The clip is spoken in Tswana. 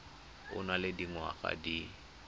o nang le dingwaga di